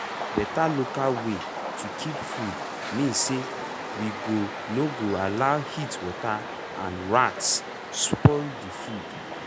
better local way to keep food mean say we go no go allow heatwater and rats spoil the food.